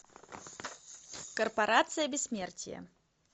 корпорация бессмертия